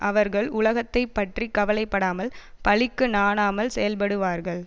அவர்கள் உலகத்தை பற்றி கவலை படாமல் பழிக்கு நாணாமல் செயல்படுவார்கள்